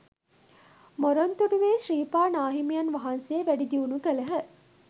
මොරොන්තුඩුවේ ශ්‍රීපා නාහිමියන් වහන්සේ වැඩි දියුණු කළහ.